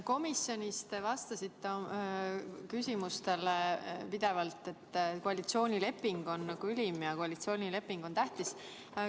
Komisjonis te vastasite küsimustele pidevalt, et koalitsioonileping on nagu ülim ja koalitsioonileping on tähtis.